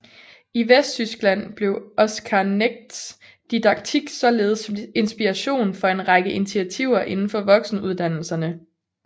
I Vesttyskland blev Oscar Negts didaktik således inspiration for en række initiativer indenfor voksenuddannelserne